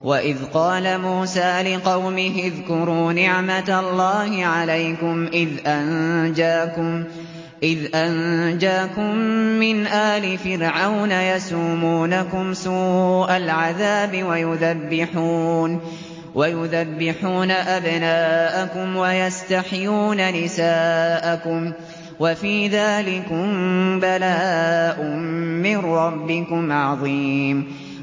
وَإِذْ قَالَ مُوسَىٰ لِقَوْمِهِ اذْكُرُوا نِعْمَةَ اللَّهِ عَلَيْكُمْ إِذْ أَنجَاكُم مِّنْ آلِ فِرْعَوْنَ يَسُومُونَكُمْ سُوءَ الْعَذَابِ وَيُذَبِّحُونَ أَبْنَاءَكُمْ وَيَسْتَحْيُونَ نِسَاءَكُمْ ۚ وَفِي ذَٰلِكُم بَلَاءٌ مِّن رَّبِّكُمْ عَظِيمٌ